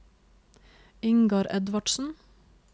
Ingar Edvardsen